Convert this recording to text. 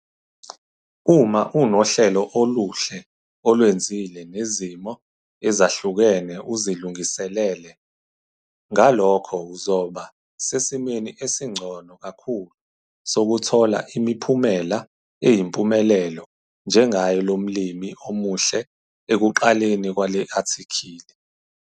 Uma unohlelo oluhle olwenzile nezimo ezahlukene uzilungiselele, ngalokho uzoba sesimeni esingcono kakhulu sokuthola imiphumela eyimpumelelo njengaye lo mlimi omuhle ekuqaleni kwale athikhili.